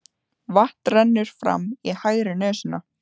Vatn rennur fram í hægri nösina.